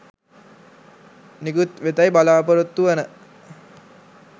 නිකුත්වෙතැයි බලපොරොත්තුවන